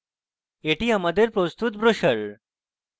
এটি আমাদের প্রস্তুত ব্রোসার